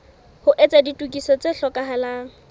ho etsa ditokiso tse hlokahalang